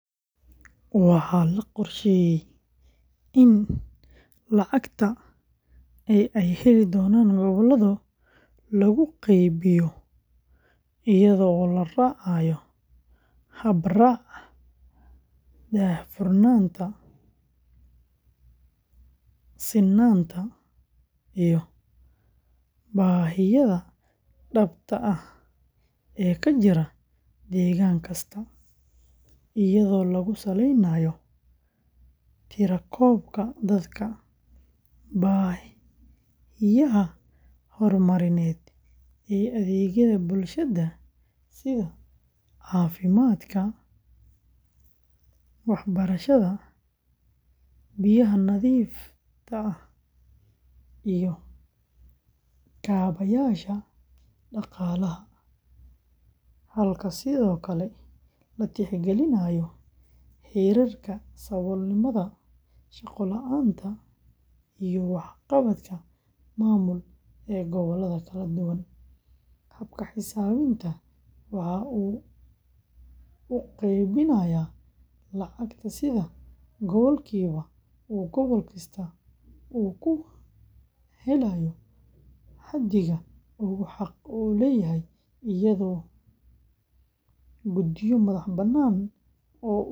Waxaa la qorsheeyay in lacagta ee ay heli doonaan gobollada lagu qaybiyo iyadoo la raacayo hab-raaca daahfurnaanta, sinnaanta, iyo baahiyaha dhabta ah ee ka jira deegaan kasta, iyadoo lagu saleynayo tirakoobka dadka, baahiyaha horumarineed ee adeegyada bulshada sida caafimaadka, waxbarashada, biyaha nadiifta ah, iyo kaabayaasha dhaqaalaha, halka sidoo kale la tixgelinayo heerarka saboolnimada, shaqo la’aanta, iyo waxqabadka maamul ee gobollada kala duwan; habka xisaabinta waxa uu u qaybinayaa lacagta sida boqolkiiba oo gobol kasta uu ku helayo xaddiga uu xaq u leeyahay iyadoo guddiyo madax-bannaan.